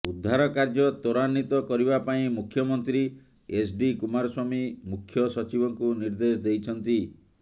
ଉଦ୍ଧାର କାର୍ଯ୍ୟ ତ୍ବରାନ୍ବିତ କରିବା ପାଇଁ ମୁଖ୍ୟମନ୍ତ୍ରୀ ଏଚ୍ଡି କୁମାରସ୍ବାମୀ ମୁଖ୍ୟ ସଚିବଙ୍କୁ ନିର୍ଦ୍ଦେଶ ଦେଇଛନ୍ତି